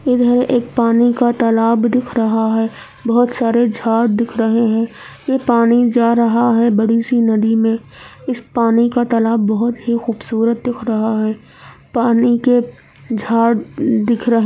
इधर एक पानी का तालाब दिखा रहा है बोहोत सारे झाड़ दिख रहे है ये पानी जा रहा है बड़ी सी नदी मै इस पानी का तालाब बोहोत ही खूबसूरत दिख रहा है पानी के झाड़ दिख रहे है।